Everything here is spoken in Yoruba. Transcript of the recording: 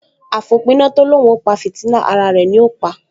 Àfòpiná tó l’óun ó pa fìtílà, ara rẹ̀ ni ó pa